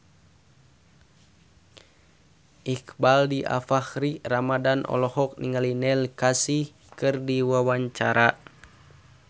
Iqbaal Dhiafakhri Ramadhan olohok ningali Neil Casey keur diwawancara